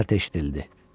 Kişnərti eşidildi.